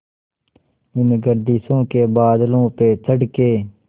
इन गर्दिशों के बादलों पे चढ़ के